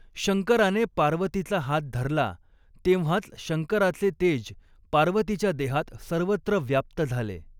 शंकराने पार्वतीचा हात धरला तेंव्हाच शंकराचे तेज पार्वतीच्या देहात सर्वत्र व्याप्त झाले.